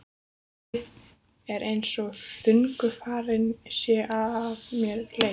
Um leið er einsog þungu fargi sé af mér létt.